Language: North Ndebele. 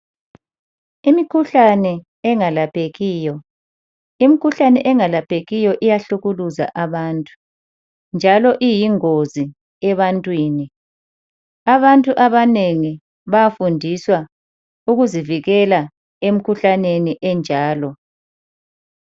Imikhuhlane engalaphekiyo. Imikhuhlane engalaphekiyo iyahlukuluza abantu njalo iyingozi ebantwini. Abantu abanengi bayafundiswa ukuzivikela emkhuhlaneni enjalo.